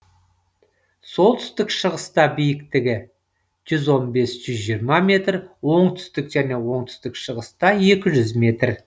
солтүстік шығыста биіктік жүз он бес жүз жиырма метр оңтүстік және оңтүстік шығыста екі жүз метр